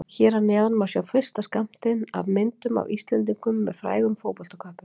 Hér að neðan má sjá fyrsta skammtinn af myndum af Íslendingum með frægum fótboltaköppum.